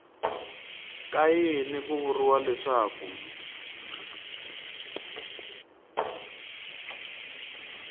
ka yini ku vuriwa leswaku